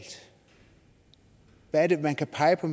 hvad er det man kan pege på